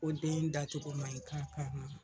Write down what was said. den dacogo man ɲi ka